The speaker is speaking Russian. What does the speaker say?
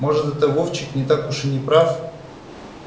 может это вовчик не так уж и не прав